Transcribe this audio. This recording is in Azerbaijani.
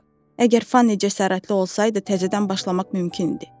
əgər Fanni cəsarətli olsaydı təzədən başlamaq mümkün idi.